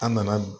An nana